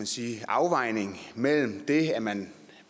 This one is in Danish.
sige afvejning mellem det at man